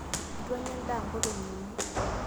eitu anyna endaa nkolongi uni